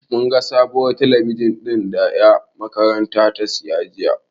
Mun ga sabuwar talabijin ɗin da da makarantar ta siya jiya.